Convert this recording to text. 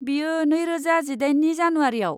बेयो नैरोजा जिदाइननि जानुवारियाव।